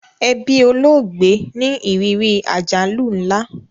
Ẹbí olóògbé ní ìrírí àjálù nla